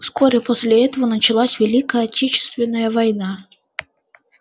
вскоре после этого началась великая отечественная война